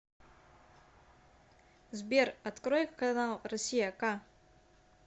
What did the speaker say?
сбер открой канал россия к